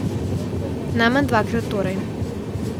Najmanj dvakrat torej.